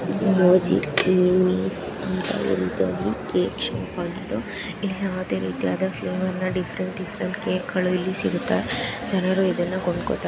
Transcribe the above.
ಮೊಂಜಿನೀಸ್ ಅಂತ ಒಂದು ರೀತಿಯಾದ ಕೇಕ್ ಶಾಪ್ ಆಗಿದ್ದು ಇಲ್ಲಿ ಯಾವುದೇ ರೀತಿ ಪ್ಲೇವರ್ ಡಿಫ್ರೆಂಟ್ ಡಿಫ್ರೆಂಟ್ ಕೇಕ್ ಗಳು ಇಲ್ಲಿ ಸಿಗುತ್ತೆ ಜನರು ಇದನ್ನ ಕೊಂಡ್ಕೋತ--